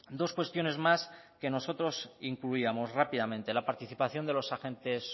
dos cuestiones más que nosotros incluíamos rápidamente la participación de los agentes